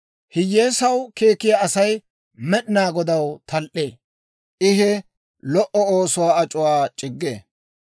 Hiyyeesaw keekkiyaa Asay Med'inaa Godaw tal"ee; I he lo"o oosuwaa ac'uwaa c'iggee.